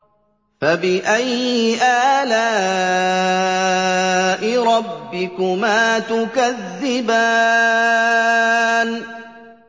فَبِأَيِّ آلَاءِ رَبِّكُمَا تُكَذِّبَانِ